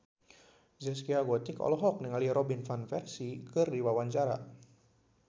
Zaskia Gotik olohok ningali Robin Van Persie keur diwawancara